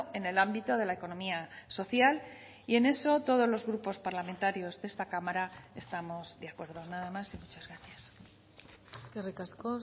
en el ámbito de la economía social y en eso todos los grupos parlamentarios de esta cámara estamos de acuerdo nada más y muchas gracias eskerrik asko